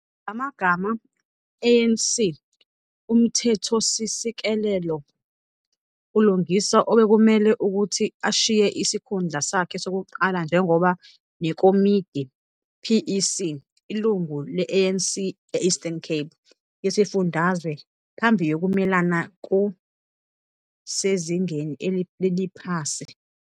Ngamagama ANC uMthethosisekelo, ULungisa obekumele ukuthi ashiye isikhundla sakhe sokuqala njengoba nekomidi, PEC, ilungu le-ANC e-Eastern Cape yesifundazwe phambi yokumelana ku sezingeni leliphasi.